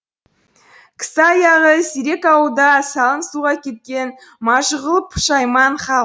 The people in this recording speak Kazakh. кісі аяғы сирек ауылда салың суға кеткен мажығулы пұшайман хал